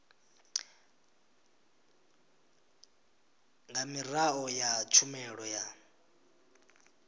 nga miraḓo ya tshumelo ya